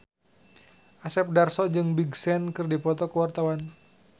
Asep Darso jeung Big Sean keur dipoto ku wartawan